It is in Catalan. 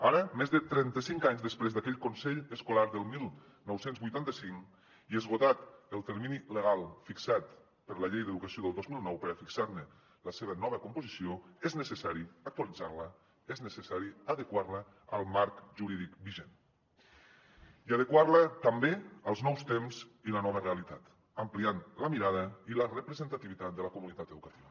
ara més de trenta cinc anys després d’aquell consell escolar del dinou vuitanta cinc i esgotat el termini legal fixat per la llei d’educació del dos mil nou per a fixar ne la seva nova composició és necessari actualitzar la és necessari adequar la al marc jurídic vigent i adequar la també als nous temps i la nova realitat ampliant la mirada i la representativitat de la comunitat educativa